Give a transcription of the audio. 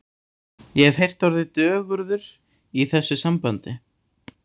Ég hef heyrt orðið dögurður í þessu sambandi.